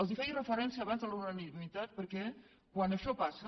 els feia referència abans a la unanimitat perquè quan això passa